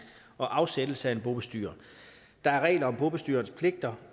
og afsættelse af en bobestyrer der er regler om bobestyrerens pligter